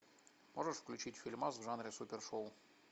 можешь включить фильмас в жанре супершоу